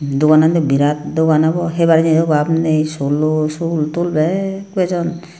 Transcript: doganande birad dogan obo haibaar jinij o obab ney solo soltol bek bejon.